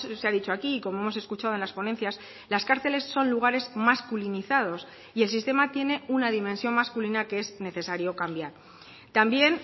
se ha dicho aquí y como hemos escuchado en las ponencias las cárceles son lugares masculinizados y el sistema tiene una dimensión masculina que es necesario cambiar también